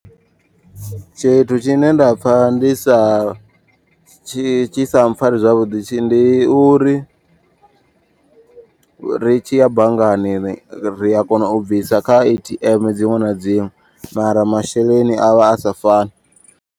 Tshithu tshine nda pfha ndi sa tshi tshi sa mpfhari zwavhuḓi. Ndi uri ri tshi ya banngani ri a kona u bvisa kha A_T_M dziṅwe na dziṅwe. Mara masheleni avha asa fani.